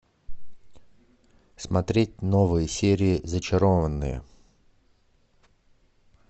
смотреть новые серии зачарованные